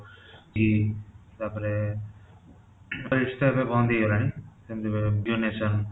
କି ତା'ପରେ five star ଏବେ ବନ୍ଦ ହେଇ ଗଲାଣି ସେମିତି domination